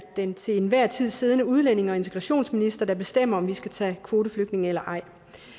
den til enhver tid siddende udlændinge og integrationsminister der bestemmer om vi skal tage kvoteflygtninge eller ej